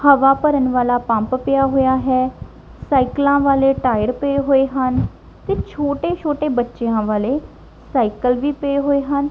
ਹਵਾ ਭਰਨ ਵਾਲਾ ਪੰਪ ਪਿਆ ਹੋਇਆ ਹੈ ਸਾਈਕਲਾਂ ਵਾਲੇ ਟਾਇਰ ਪਏ ਹੋਏ ਹਨ ਤੇ ਛੋਟੇ ਛੋਟੇ ਬੱਚਿਆਂ ਵਾਲੇ ਸਾਈਕਲ ਵੀ ਪਏ ਹੋਏ ਹਨ।